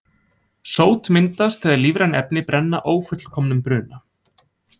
Sót myndast þegar lífræn efni brenna ófullkomnum bruna.